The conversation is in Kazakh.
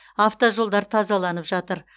автожолдар тазаланып жатыр